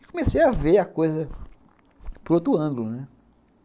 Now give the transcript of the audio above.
E comecei a ver a coisa por outro ângulo, né?